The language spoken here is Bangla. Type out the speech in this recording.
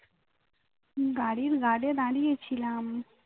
গাড়ির guard এ দাঁড়িয়ে ছিলাম